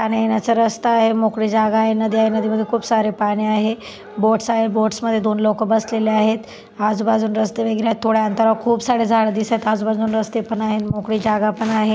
जाण्यायेण्याचा रस्ता आहे मोकळी जागा आहे नदी आहे नदीमध्ये खूप सारे पाणी आहे बोट्स आहे बोट्स मध्ये दोन लोक बसलेले आहेत आजूबाजून रस्ते वगैरे आहेत थोड्या अंतरावर खूप सारे झाड दिसत आजूबाजूनी रस्ते पन आहेत मोकळी जागा पण आहे.